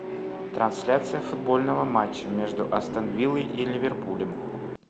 трансляция футбольного матча между астон вилла и ливерпулем